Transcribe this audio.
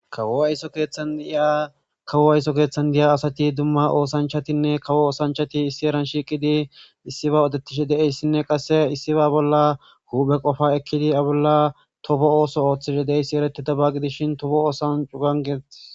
kawo ayso keeththan iya kawo ayso keeththan diya asati dumma oosanchatinne kawo oosanchati issi eran shiiqidi issiba odetishi deeyssinne qasse issiba bolla huuphe qofa ekkidi a bolla tofo ooso ooththishe deeyssi ereti dabagidishin tofo oosan cu gangeei